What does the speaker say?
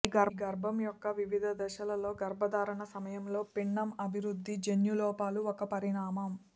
ఈ గర్భం యొక్క వివిధ దశలలో గర్భధారణ సమయంలో పిండం అభివృద్ధి జన్యు లోపాలు ఒక పరిణామం